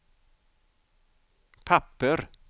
papper